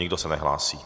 Nikdo se nehlásí.